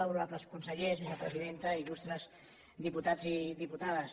honorables consellers vicepresidenta il·lustres diputats i diputades